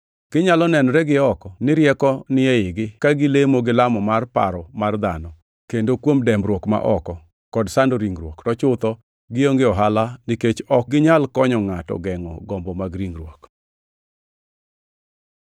Ginyalo nenore gioko ni rieko ni eigi ka gilemo gi lamo mar paro mar dhano, kendo kuom dembruok ma oko, kod sando ringruok, to chutho gionge ohala nikech ok ginyal konyo ngʼato gengʼo gombo mag ringruok.